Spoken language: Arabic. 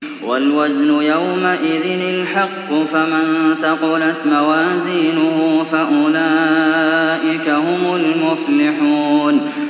وَالْوَزْنُ يَوْمَئِذٍ الْحَقُّ ۚ فَمَن ثَقُلَتْ مَوَازِينُهُ فَأُولَٰئِكَ هُمُ الْمُفْلِحُونَ